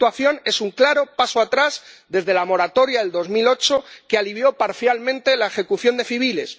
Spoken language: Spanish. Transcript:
Esta situación es un claro paso atrás desde la moratoria de 2008, que alivió parcialmente la ejecución de civiles.